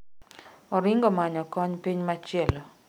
Oringo manyo kony piny machielo